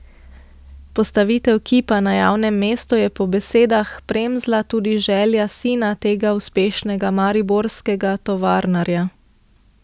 Postavitev kipa na javnem mestu je po besedah Premzla tudi želja sina tega uspešnega mariborskega tovarnarja.